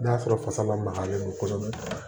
N'a sɔrɔ fasa magalen don kosɛbɛ